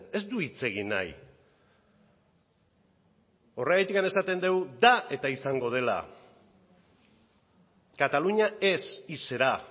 ez du hitz egin nahi horregatik esaten dugu da eta izango dela cataluña es y será